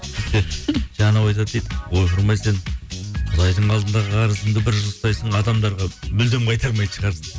сөйтсе жаңа анау айтады дейді ойпырм ай сен құдайдың алдындағы қарызыңды бір жыл ұстайсың адамдарға мүлдем қайтармайтын шығарсың